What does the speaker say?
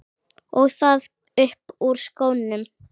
Og það upp úr skónum!